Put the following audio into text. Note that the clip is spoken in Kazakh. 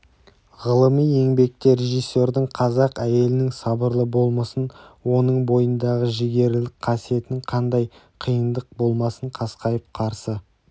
ғылыми еңбекте режиссердің қазақ әйелінің сабырлы болмысын оның бойындағы жігерлілік қасиетін қандай қиындық болмасын қасқайып қарсы